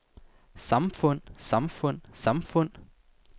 samfund samfund samfund